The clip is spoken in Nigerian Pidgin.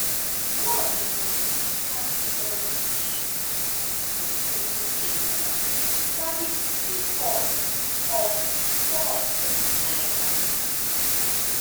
one of di most significant economic issues since tinubu take ova na di free fall of fall of di naira